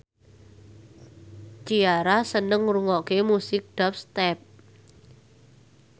Ciara seneng ngrungokne musik dubstep